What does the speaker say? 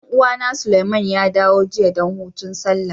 Dan uwa na, Suleiman ya dawo jiya dan hutun Sallah.